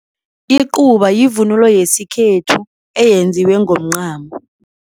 Icuba yivunulo yesikhethu eyenziwe ngomncamo.